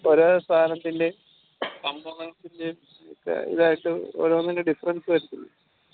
ഓരോ സാധനത്തിന്റേം components ന്റെയു ഇതായിട്ട് ഓരോന്നിൻറെ difference വെച്ച്